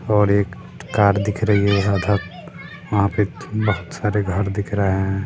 और एक कार दिख रही है आधा वहाँ पे बहुत सारे घर दिख रहे हैं।